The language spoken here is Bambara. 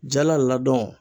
Jala ladɔn